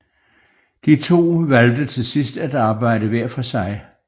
De to valgte til sidst at arbejde hver for sig